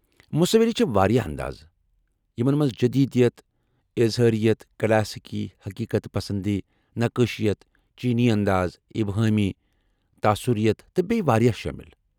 مصوری چھ واریاہ انداز ، یمن منٛز جدیدیت ، اظہار، یت ، کلاسیکی، حقیقت پسند، نقٲشِیت ، چینی انداز، ابہٲمی ،، تاثرِیت تہٕ بیٚیہ واریاہ شٲمل چھ۔